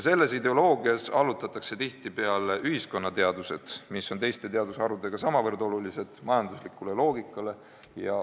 Selles ideoloogias allutatakse tihtipeale ühiskonnateadused, mis on teiste teadusharudega samavõrd olulised, majanduslikule loogikale.